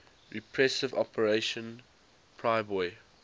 repressive operation priboi